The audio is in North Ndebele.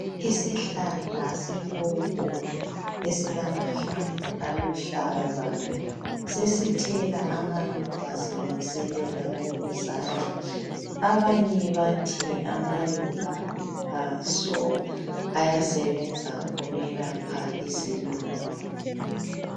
isihlahla sepopo esilamahlamvu aluhlaza sesithela amaluba silungiselela ukuzala banye bathi amaluba aso ayasebenza ukwelapha isilungu